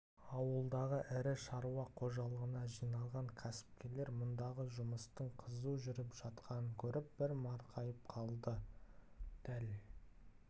ауылдағы ірі шаруа қожалығына жиналған кәсіпкерлер мұндағы жұмыстың қызу жүріп жатқанын көріп бір марқайып қалды дәл